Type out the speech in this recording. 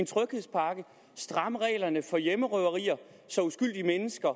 stramme reglerne for hjemmerøverier så uskyldige mennesker